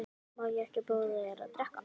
Má ekki bjóða þér að drekka?